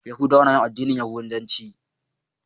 Yahudawa na yin addinin yahudanci.